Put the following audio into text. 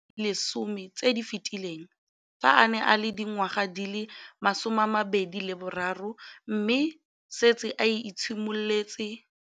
Dingwaga di le 10 tse di fetileng, fa a ne a le dingwaga di le 23 mme a setse a itshimoletse